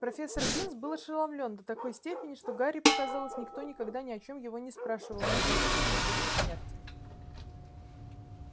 профессор бинс был ошеломлён до такой степени что гарри показалось никто никогда ни о чем его не спрашивал ни при жизни ни после смерти